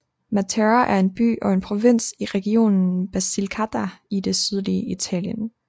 Matera er en by og en provins i regionen Basilicata i det sydlige Italien